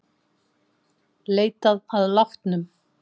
Leitað að látnum